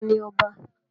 ta ni ọba?